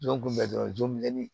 Jɔn kun bɛ dɔrɔn joonin